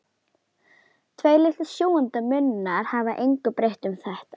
Tveir litlir sjúgandi munnar hafa engu breytt um þetta.